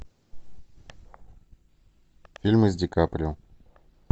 фильмы с ди каприо